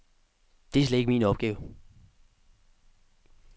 Det er slet ikke min opgave.